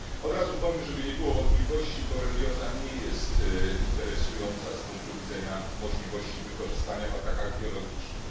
Od razu powiem, żeby nie było wątpliwości borelioza nie jest interesująca z punktu widzenia możliwości wykorzystania jej w atakach biologicznych.